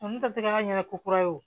Nunnu tɛgɛ ɲɛna ko kura wo